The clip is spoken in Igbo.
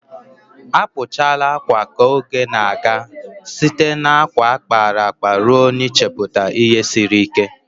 Akpụchala akwa ka oge na-aga, site na akwa a kpara akpa ruo n'ichepụta ihe siri ike.